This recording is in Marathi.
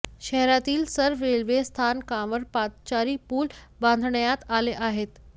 शहरातील सर्व रेल्वे स्थानकांवर पादचारी पूल बांधण्यात आले आहेत